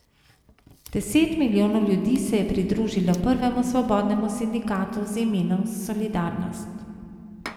Deset milijonov ljudi se je pridružilo prvemu svobodnemu sindikatu z imenom Solidarnost.